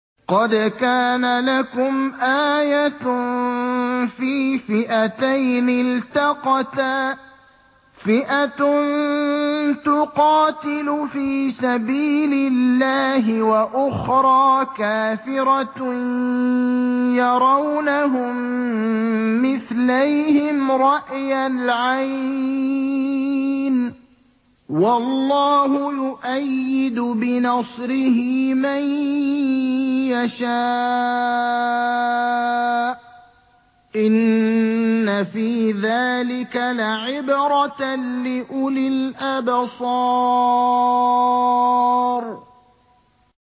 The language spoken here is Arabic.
قَدْ كَانَ لَكُمْ آيَةٌ فِي فِئَتَيْنِ الْتَقَتَا ۖ فِئَةٌ تُقَاتِلُ فِي سَبِيلِ اللَّهِ وَأُخْرَىٰ كَافِرَةٌ يَرَوْنَهُم مِّثْلَيْهِمْ رَأْيَ الْعَيْنِ ۚ وَاللَّهُ يُؤَيِّدُ بِنَصْرِهِ مَن يَشَاءُ ۗ إِنَّ فِي ذَٰلِكَ لَعِبْرَةً لِّأُولِي الْأَبْصَارِ